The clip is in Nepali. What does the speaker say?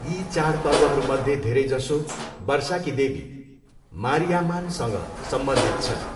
यी चाडपर्वहरूमध्ये धेरैजसो वर्षाकी देवी मारियाम्मानसँग सम्बन्धित छन्।